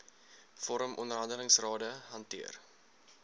vorm onderhandelingsrade hanteer